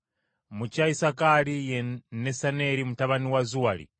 mu kya Isakaali ye Nesaneri mutabani wa Zuwaali;